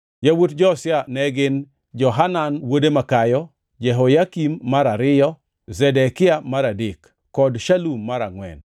Yawuot Josia ne gin: Johanan wuode makayo, Jehoyakim mar ariyo, Zedekia mar adek, kod Shalum mar angʼwen.